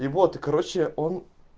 и вот и короче он